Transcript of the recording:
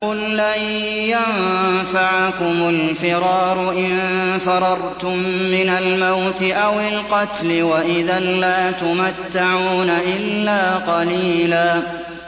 قُل لَّن يَنفَعَكُمُ الْفِرَارُ إِن فَرَرْتُم مِّنَ الْمَوْتِ أَوِ الْقَتْلِ وَإِذًا لَّا تُمَتَّعُونَ إِلَّا قَلِيلًا